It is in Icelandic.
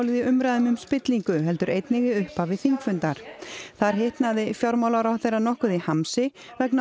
í umræðum um spillingu heldur einnig í upphafi þingfundar þar hitnaði fjármálaráðherra nokkuð í hamsi vegna